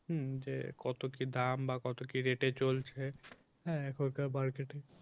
হুম যে কত কি দাম বা কত কি rate এ চলছে হ্যাঁ এখনকার বাড়িতে তো